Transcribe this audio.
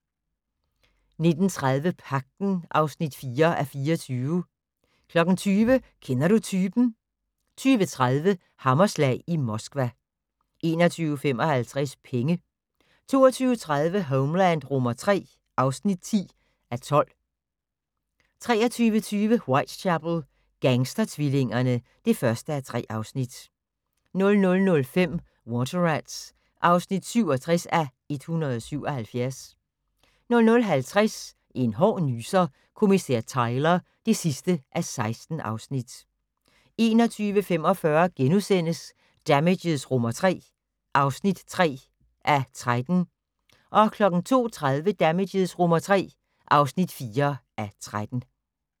19:30: Pagten (4:24) 20:00: Kender du typen? 20:30: Hammerslag i Moskva 21:55: Penge 22:30: Homeland III (10:12) 23:20: Whitechapel: Gangstertvillingerne (1:3) 00:05: Water Rats (67:177) 00:50: En hård nyser: Kommissær Tyler (16:16) 01:45: Damages III (3:13)* 02:30: Damages III (4:13)